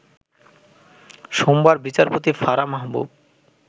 সোমবার বিচারপতি ফারাহ মাহবুব